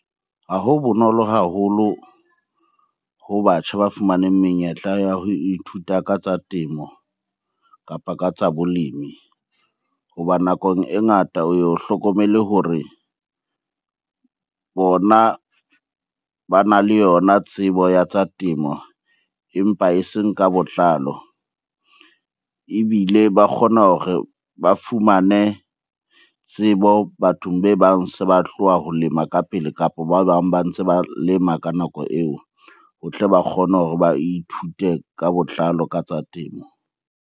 Ha ho bonolo haholo ho batjha ba fumaneng menyetla ya ho ithuta ka tsa temo, kapa ka tsa bolemi. Hoba nakong e ngata o yo hlokomele hore bona bana le yona tsebo ya tsa temo, empa eseng ka botlalo. Ebile ba kgona hore ba fumane tsebo bathong be bang se ba tloha ho lema ka pele, kapa ba bang ba ntse ba lema ka nako eo ho tle ba kgone hore ba ithute ka botlalo ka tsa temo.